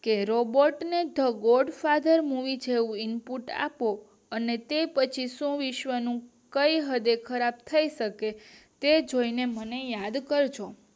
કે રોબોટ ને તો ગોડ ફાધર મુવી જેવું ઇનપુટ આપો અને તે પછી સૌ વિશ્વ નું કઈ હદે ખરાબ થઇ શકે તે જોઈને મને યાદ કરજો